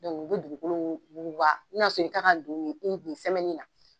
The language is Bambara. u be dugukolo wuguba n'a sɔrɔ i kan ka i kun sɛmɛnin na.